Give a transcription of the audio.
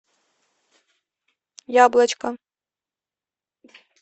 яблочко